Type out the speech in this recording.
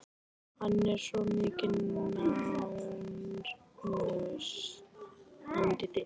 Hann er svo mikil nánös hann Diddi.